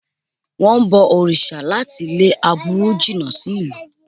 Wọ́n ń bọ òrìṣà láti lé aburú jìnà sí ìlú